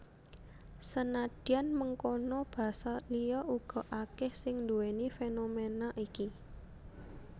Senadyan mengkono basa liya uga akèh sing nduwèni fénoména iki